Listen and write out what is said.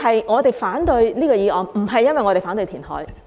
我們反對這項議案，亦非因為我們反對填海。